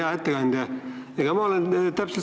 Hea ettekandja!